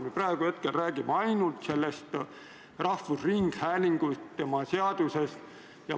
Me praegu räägime ainult rahvusringhäälingu seadusest.